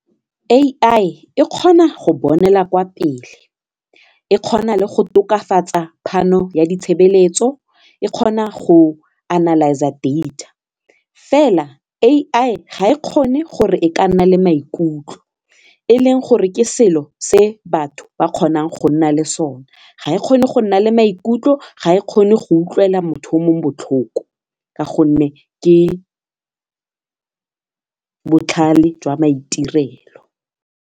AI e kgona go bonela kwa pele, e kgona le go tokafatsa phano ya ditshebeletso e kgona go analyse-a data fela AI ga e kgone gore e ka nna le maikutlo e leng gore ke selo se batho ba kgonang go nna le sone ga e kgone go nna le maikutlo ga e kgone go utlwela motho mo botlhoko ka gonne ke botlhale jwa maitirelo.